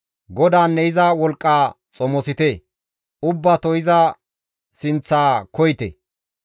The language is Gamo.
GODAANNE iza wolqqa xomosite; ubbato iza sinththa koyite.